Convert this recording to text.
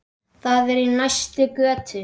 Það er í næstu götu.